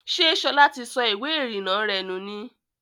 Ṣẹ́ Ṣọlá ti sọ ìwé ìrìnà rẹ nù ni?